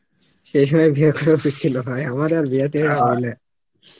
সেই সময় বিয়ে করা উচিত ছিল আমার আর বিয়ে টিয়ে হবে নে